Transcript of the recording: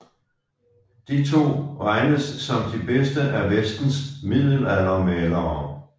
De to regnes som de bedste af vestens middelaldermalere